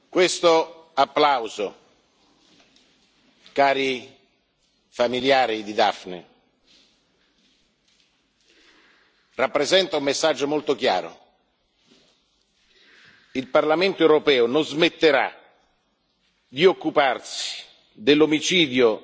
Questo applauso, cari familiari di Daphne, rappresenta un messaggio molto chiaro il Parlamento europeo non smetterà di occuparsi dell'omicidio